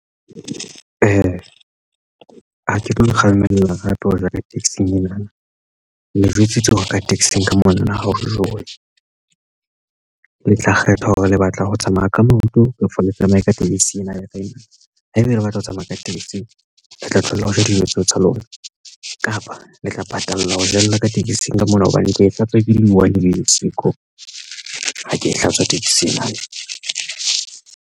Ha ke tlo kgalemela hape ho ja ka taxi-ng ena le jwetsitswe hore ka taxi-ng ka mona na ho jowe le tla kgetha hore le batla ho tsamaya ka maoto ka for le tsamaya ka tekesi ena haeba o batla ho tsamaya ka tekesi le tla thola ho ja dijo tseo tsa lona kapa le tla patala ho jella ka tekesing ka mona hobane ke hlatswa ke di buwang le siko ha ke e hlatswa taxi ena.